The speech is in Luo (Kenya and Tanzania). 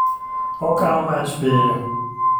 Okao mach piyo